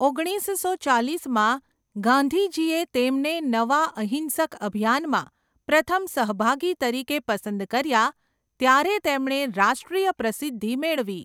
ઓગણીસસો ચાલીસમાં ગાંધીજીએ તેમને નવા અહીંસક અભિયાનમાં પ્રથમ સહભાગી તરીકે પસંદ કર્યા ત્યારે તેમણે રાષ્ટ્રીય પ્રસિદ્ધિ મેળવી.